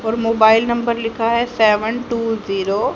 और mobile number लिखा है सेवन टू जीरो --